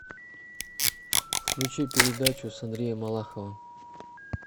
включи передачу с андреем малаховым